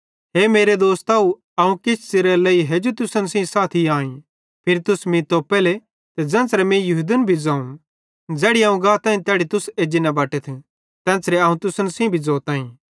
हे मेरे दोस्तव अवं किछ च़िरेरे लेइ हेजू तुसन सेइं साथी आई फिरी तुस मीं तोप्पेले ते ज़ेन्च़रे मीं यहूदन भी ज़ोवं ज़ैड़ी अवं गाताईं तैड़ी तुस न एज्जी बटथ तेन्च़रे अवं तुसन सेइं भी ज़ोताईं